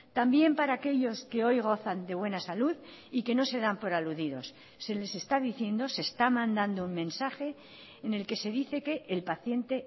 también para aquellos que hoy gozan de buena salud y que no se dan por aludidos se les está diciendo se está mandando un mensaje en el que se dice que el paciente